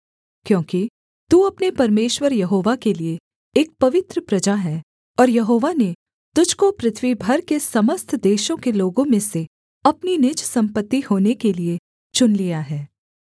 क्योंकि तू अपने परमेश्वर यहोवा के लिये एक पवित्र प्रजा है और यहोवा ने तुझको पृथ्वी भर के समस्त देशों के लोगों में से अपनी निज सम्पत्ति होने के लिये चुन लिया है